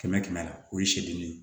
Kɛmɛ kɛmɛ la o ye seli ye